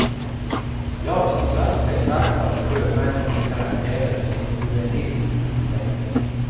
Ja, som klass betraktad är sjömännen till karaktären ett juvenilt släkte.